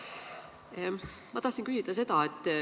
Lugupeetud minister!